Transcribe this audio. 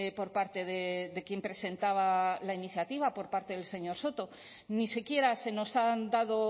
por parte de quien presentaba la iniciativa por parte del señor soto ni siquiera se nos han dado